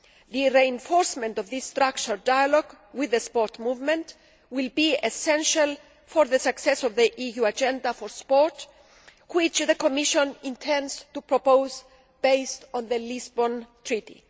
The reinforcement of this structured dialogue with the sports movement will be essential for the success of the EU agenda for sport, which the Commission intends to propose, based on the Lisbon Treaty.